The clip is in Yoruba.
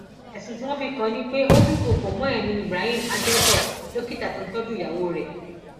ẹsùn tí wọn fi kàn án ni pé ó dúnkookò mọ ẹmí ibrahim adẹdọ dókítà tó ń tọjú ìyàwó rẹ